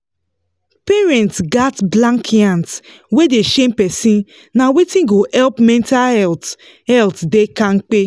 parents gats blank yans wey dey shame person na wetin go help make mental health health dey kampe